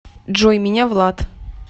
джой меня влад